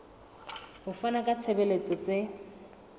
ho fana ka ditshebeletso tse